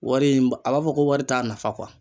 Wari in a b'a fɔ ko wari t'a nafa kuwa